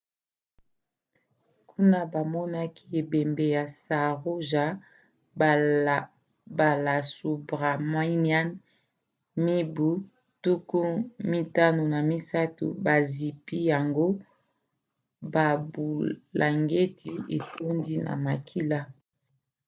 kuna bamonaki ebembe ya saroja balasubramanian mibu 53 bazipi yango babulangeti etondi na makila